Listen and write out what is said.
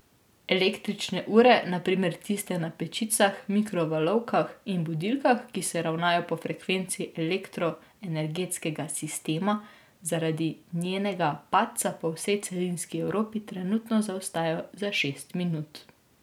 Električne ure, na primer tiste na pečicah, mikrovalovkah in budilkah, ki se ravnajo po frekvenci elektroenergetskega sistema, zaradi njenega padca po vsej celinski Evropi trenutno zaostajajo za šest minut.